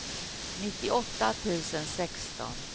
nittioåtta tusen sexton